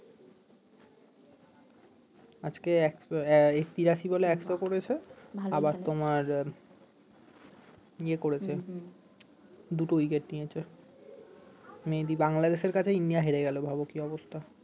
আজকে তিরাশি বলে একশো করেছে আবার তোমার ইয়ে করেছে দুটো উইকেট নিয়েছে মেহেদি বাংলাদেশের কাছে ইন্ডিয়া হেরে গেল ভাবো কি অবস্থা